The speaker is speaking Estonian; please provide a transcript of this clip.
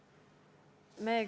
Aitäh!